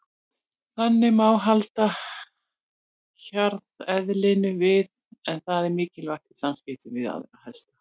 Þannig má halda hjarðeðlinu við en það er mikilvægt í samskiptum við aðra hesta.